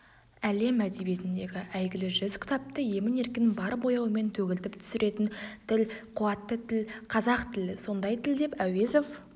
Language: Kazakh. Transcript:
әлем әдебиетіндегі әйгілі жүз кітапты емін-еркін бар бояуымен төгілтіп түсіретін тіл қуатты тіл қазақ тілі сондай тіл деп әуезов